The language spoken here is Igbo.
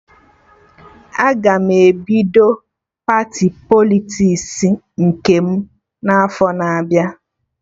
Aga m ebido pati Politiks nke m n'afọ na-abịa